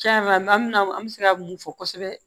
Tiɲɛ yɛrɛ la maa min an bɛ se ka mun fɔ kosɛbɛ